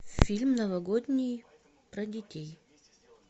фильм новогодний про детей